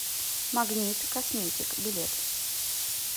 магнит косметик билет